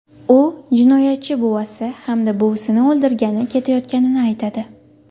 U jinoyatchi buvasi hamda buvisini o‘ldirgani ketayotganini aytadi.